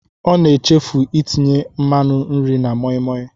Ọ na-echefu itinye nmanụ nri na moimoi.